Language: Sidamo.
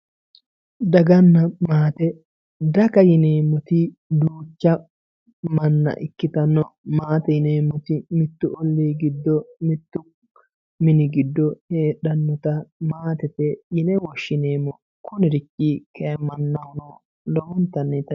daganna maate, daga yineemmoti duucha manna ikkitanno maate yineemmoti mittu ollii giddo mittu mini giddo heedhannota maatete yine woshshineemmo kunirichi kay mannahono lowontanni.